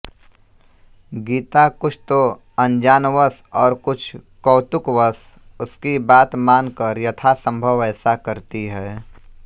गीता कुछ तो अनजानवश और कुछ कौतुकवश उसकी बात मान कर यथासंभव वैसा करती है